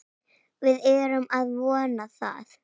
Við erum að vona það.